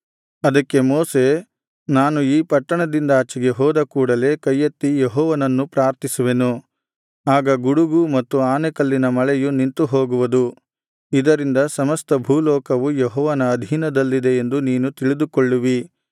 ಅದಕ್ಕೆ ಮೋಶೆ ನಾನು ಈ ಪಟ್ಟಣದಿಂದಾಚೆಗೆ ಹೋದ ಕೂಡಲೇ ಕೈಯೆತ್ತಿ ಯೆಹೋವನನ್ನು ಪ್ರಾರ್ಥಿಸುವೆನು ಆಗ ಗುಡುಗು ಮತ್ತು ಆನೆಕಲ್ಲಿನ ಮಳೆಯು ನಿಂತುಹೋಗುವದು ಇದರಿಂದ ಸಮಸ್ತ ಭೂಲೋಕವು ಯೆಹೋವನ ಅಧೀನದಲ್ಲಿದೆ ಎಂದು ನೀನು ತಿಳಿದುಕೊಳ್ಳುವಿ